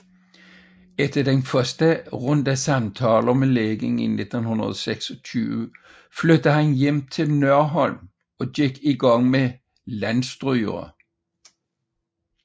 Efter den første runde samtaler med lægen i 1926 flyttede han hjem til Nørholm og gik i gang med Landstrygere